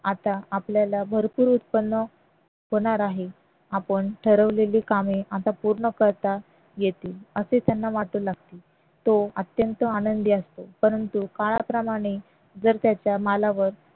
आता आपल्याला भरपूर उत्पन्न होणार आहे आपण ठरवलेले कामे आता पूर्ण करता येतील असे त्यांना वाटू लागते तो अत्यंत आनंदी असतो परंतु काळाप्रमाणे जर त्याच्या मालावर